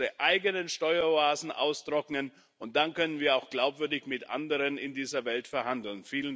Wir müssen unsere eigenen Steueroasen austrocknen, und dann können wir auch glaubwürdig mit anderen in dieser Welt verhandeln.